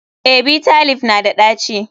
Eh, Bitter leaf na da ɗaci.